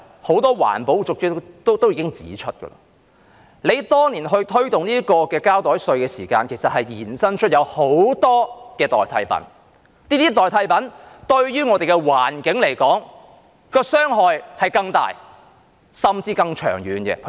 很多環保人士已經指出，政府當年推動膠袋稅時，其實衍生了很多代替品，這些代替品對於我們的環境傷害更大，甚至更長遠。